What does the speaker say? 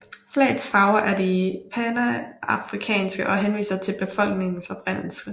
Flagets farver er de panafrikanske og henviser til befolkningens oprindelse